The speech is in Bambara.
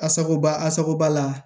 Asacoba asaba la